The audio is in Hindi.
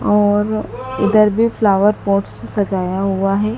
और उधर भी फ्लावर पॉट्स सजाया हुआ है।